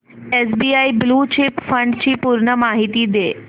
SBI blue chip fund ची पूर्ण माहिती दे